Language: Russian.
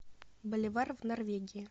боливар в норвегии